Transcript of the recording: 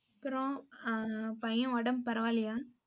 அப்புறம், ஆஹ் பையன் உடம்பு பரவாயில்லையா